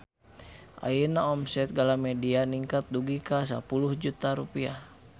Ayeuna omset Galamedia ningkat dugi ka 10 juta rupiah